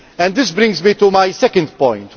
This brings me to my second point.